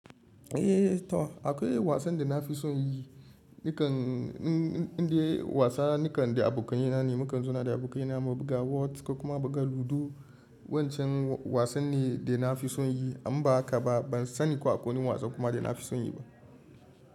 Eh to akwai wasan da na fi son yi, nikan indai wasa nikan da abokaina ne, mukan zauna da abokaina mu buga wot kuma buga ludo. Wancan wasan ne da na fi son yi, amma haka ba ban sani ko akwai wani wasan kuma da na fi son yi ba.